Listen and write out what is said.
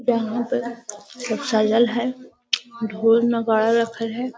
यहाँ पर सब सजल हई ढोल नगारा रखल हई |